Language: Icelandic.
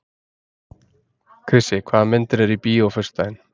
Krissi, hvaða myndir eru í bíó á föstudaginn?